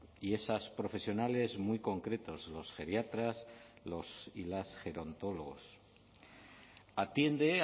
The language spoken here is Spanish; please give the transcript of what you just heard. y esas profesionales muy concretos los geriatras los y las gerontólogos atiende